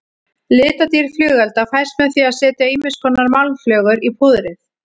Litadýrð flugelda fæst með því að setja ýmiskonar málmflögur í púðrið.